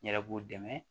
N yɛrɛ b'u dɛmɛ